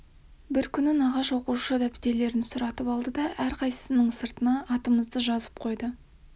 бір күні нағаш оқушы дәптерлерін сұратып алды да әрқайсысының сыртына атымызды жазып қойды